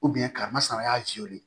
ka masama y'a jɛ de